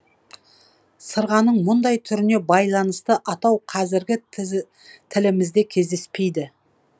сырғаның мүндай түріне байланысты атау қазіргі тілімізде кездеспейді